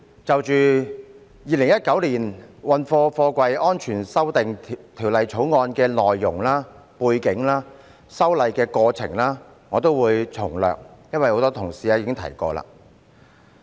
就《2019年運貨貨櫃條例草案》的內容、背景及修例過程，我也會從略，因為很多同事已提及。